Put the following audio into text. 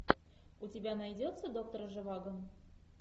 у тебя найдется доктор живаго